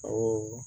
Awɔ